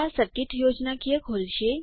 આ સર્કિટ યોજનાકીય ખોલશે